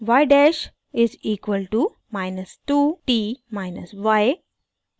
y dash is equal to minus 2 t minus y